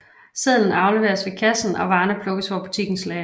Sedlen afleveres ved kassen og varerne plukkes fra butikkens lager